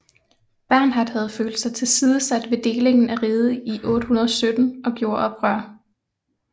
Bernhard havde følt sig tilsidesat ved ved delingen af riget i 817 og gjorde oprør